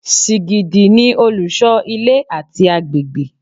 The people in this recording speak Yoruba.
Sìgìdì ni olùṣọ́ ilé àti agbègbè